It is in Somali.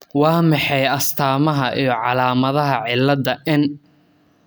Waa maxay astamaha iyo calaamadaha cilada N ?